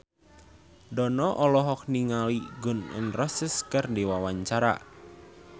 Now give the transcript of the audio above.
Dono olohok ningali Gun N Roses keur diwawancara